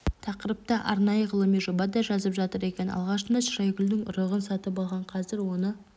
тақырыпта арнайы ғылыми жоба да жазып жатыр екен алғашында шырайгүлдің ұрығын сатып алған қазір оны